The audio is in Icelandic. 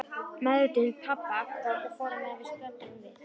Meðvitund pabba kom og fór á meðan við stöldruðum við.